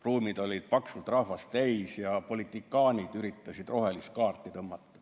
Ruumid olid paksult rahvast täis ja politikaanid üritasid rohelist kaarti tõmmata.